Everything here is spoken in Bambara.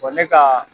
ne ka